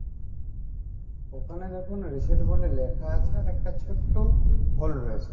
ওখানে দেখুন reset বলে লেখা আছে আবার একটা ছোট্ট hole রয়েছে